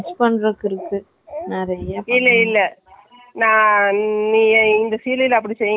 ஆமா, என்னக்கு ஒரு doubt உள்ள stitching எல்லாம் வருமே உள்ள lining கொடுக்க மாட்டோம்மா உள்ள சேலை துணியிலே எப்படி போடுவீங்க.